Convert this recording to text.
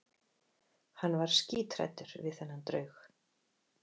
Hann var skíthræddur við þennan draug.